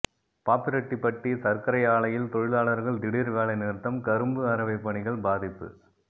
பாப்பிரெட்டிப்பட்டி சர்க்கரை ஆலையில் தொழிலாளர்கள் திடீர் வேலை நிறுத்தம் ்கரும்பு அரவை பணிகள் பாதிப்பு